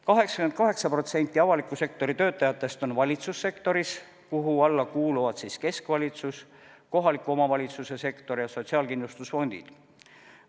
88% avaliku sektori töötajatest on valitsussektoris, kuhu alla kuuluvad keskvalitsus, kohaliku omavalitsuse sektor ja sotsiaalkindlustusfondid.